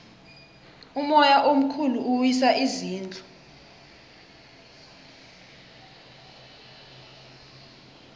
umoya omkhulu uwisa izindlu